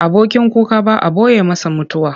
Abokin kuka ba a ɓoye masa mutuwa.